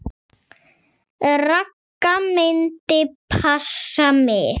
Ragga myndi passa mig.